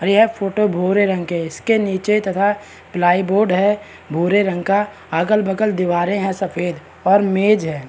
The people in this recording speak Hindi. और यह फोटो भूरे रंग के है। इसके नीचे तथा प्लाई बोर्ड है भूरे रंग का। अगल-बगल दीवारें हैं सफ़ेद और मेज है।